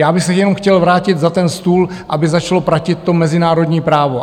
Já bych se jenom chtěl vrátit za ten stůl, aby začalo platit to mezinárodní právo.